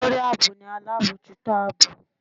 Olorí aabọ ni alabọjuto aabọ